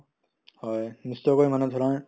হয়, নিশ্চয়কৈ মানে ধৰা